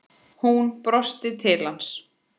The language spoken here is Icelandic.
Hún brosti til hans.